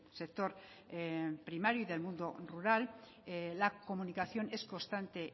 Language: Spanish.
sector primario y del mundo rural la comunicación es constante